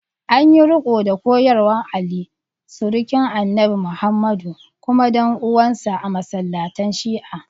An yi riko da koyarwar Ali, surukin Annabi Muhammadu kuma dan uwansa, a masallatan Shi’a.